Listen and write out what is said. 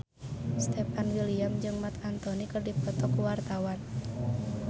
Stefan William jeung Marc Anthony keur dipoto ku wartawan